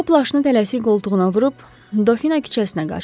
O plaşını tələsik qoltuğuna vurub Dofina küçəsinə qaçdı.